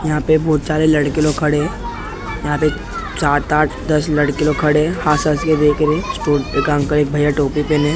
यहाँ पे बहुत सारे लड़के लोग खड़े है यहाँ पे सात आठ दस लड़के लोग खड़े है हँस हँस के देख रहे हैं स्टोन पे काम कर एक भैया टोपी पहने है।